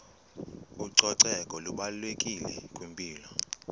ucoceko lubalulekile kwimpilo